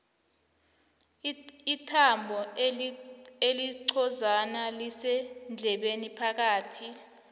ithambo elincozana lisendlebeni phakathi